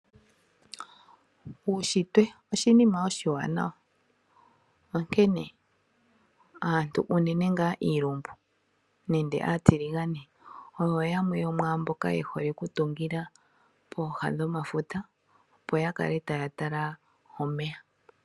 Uushitwe oshinima oshiwanawa, onkene aantu unene ngaa iilumbu nende aatiligane, oyo yamwe yomwaamboka yehole oku tungila pooha dho mafuta opo ya kale taya tala omeya.